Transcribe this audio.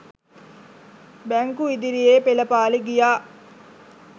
බැංකු ඉදිරියේ පෙළපාළි ගියා.